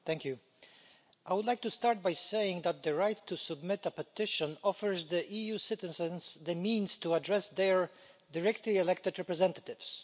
Mr President, I would like to start by saying that the right to submit a petition offers EU citizens the means to address their directly elected representatives.